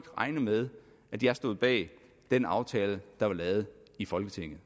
regne med at jeg stod bag den aftale der var lavet i folketinget